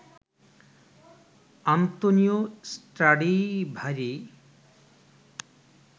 Antonio Stradivari